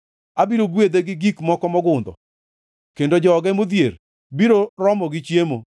abiro gwedhe gi gik moko mogundho, kendo joge modhier abiro romo gi chiemo.